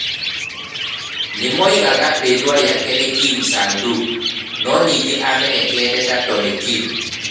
Nĩ moigaga rĩĩtwa rĩake nĩ Kim Sang-duk, no ningĩ nĩ amenyekete ta Tony Kim.